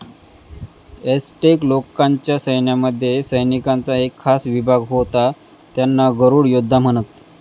एसटेक लोकांच्या सैन्यामध्ये सैनिकांचा एक खास विभाग होता, त्यांना गरुड योद्धा म्हणत.